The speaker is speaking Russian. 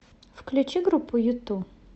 включи группу юту